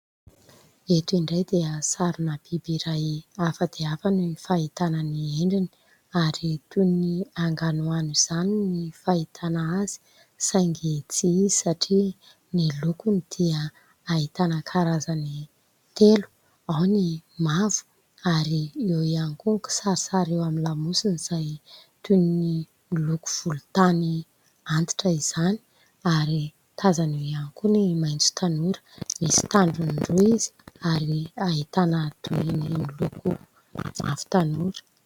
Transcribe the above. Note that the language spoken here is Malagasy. Eto indray dia sarona biby iray hafa dia hafa ny fahitana ny endriny ary toy ny anganoano izany ny fahitana azy saingy tsy izy satria ny lokony dia ahitana karazany telo, ao ny mavo ary eo ihany koa ny kisarisary eo amin'ny lamosina izay toy ny loko volontany antitra izany ary tazana eo ihany koa ny maitso tanora misy tandrony roa izy ary ahitana toy ny miloko mavo tanora.